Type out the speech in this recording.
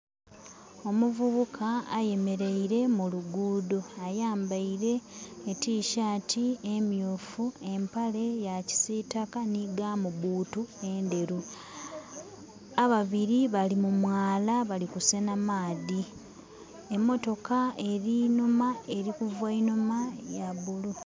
Omuvubuka ayemeleire mu luguudho. Ayambaile a T-shirt emyuufu, empale ya kisiitaka, nhi gumboot endheru. Ababili bali mu mwaala bali kusenha maadhi. Emotoka eli nhuma, eli kuva inhuma, ya blue.